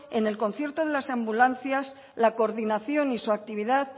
en el concierto de las ambulancias la coordinación y su actividad